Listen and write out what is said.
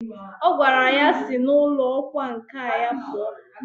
O gwara ya sI na ulo okwa nka ya pua!